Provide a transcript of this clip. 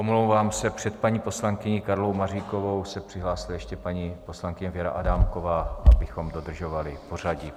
Omlouvám se, před paní poslankyní Karlou Maříkovou se přihlásila ještě paní poslankyně Věra Adámková, abychom dodržovali pořadí.